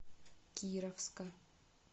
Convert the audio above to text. кировска